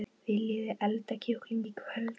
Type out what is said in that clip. Viljiði elda kjúkling í kvöld?